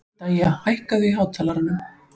Dæja, hækkaðu í hátalaranum.